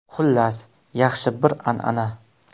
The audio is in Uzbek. Xullas, yaxshi bir an’ana.